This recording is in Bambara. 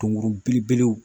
Tonkurun belebelew